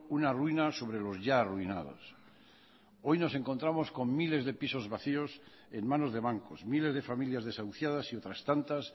una ruina sobre los ya arruinados hoy nos encontramos con miles de pisos vacíos en manos de bancos miles de familias desahuciadas y otras tantas